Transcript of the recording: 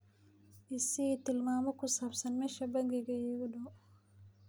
i sii tilmaamo ku saabsan meesha bangiga iigu dhow